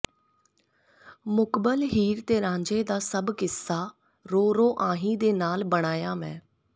ਮੁਕਬਲ ਹੀਰ ਤੇ ਰਾਂਝੇ ਦਾ ਸਭ ਕਿੱਸਾ ਰੋ ਰੋ ਆਹੀਂ ਦੇ ਨਾਲ ਬਣਾਇਆ ਮੈਂ